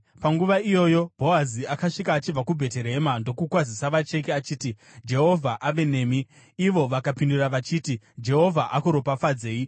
Panguva iyoyo Bhoazi akasvika achibva kuBheterehema ndokukwazisa vacheki achiti, “Jehovha ave nemi!” Ivo vakapindura vachiti, “Jehovha akuropafadzei!”